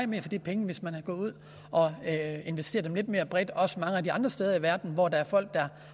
mere for de penge hvis man var gået ud og havde investeret lidt mere bredt også mange af de andre steder i verden hvor der er folk der